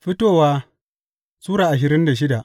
Fitowa Sura ashirin da shida